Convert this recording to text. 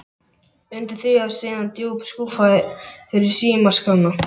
Undir því var síðan djúp skúffa fyrir símaskrána.